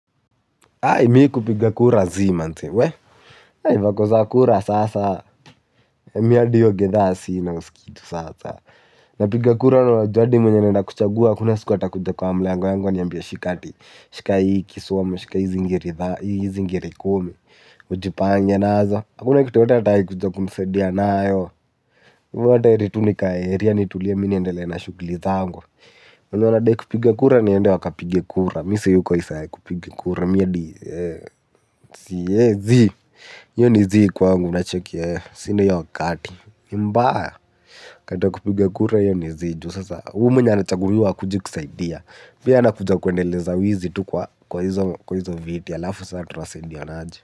Mimi kupiga kura zii manze, vako za kura sasa. Mimi hadi hio gidhaa sina, huskii sasa. Napiga kura na najua hadi mwenye naenda kuchagua hakuna siku atakuja kwa mlango yangu aniambia shika hii ama shika hizi ngiri kumi ujipange nazo, hakuna kitu yoyote atawahi kuja kunisaidia nayo. Kwa hivo hata heri tu nikae area nitulie niendelee na shugli zangu. Mwenye anadai kupiga kura aende akapige kura. Mimi siyuko idhaa ya kupiga kura. Ni mbaya, rada ya kupiga kura hio ni zii, kwa sababu hata huyu mwenye anachaguliwa akuje kusaidia anakuja kuendeleza wizi kwa hizo viti, halafu sasa tutasaidianaje?